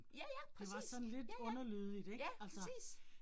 Ja ja præcis, ja ja, ja, præcis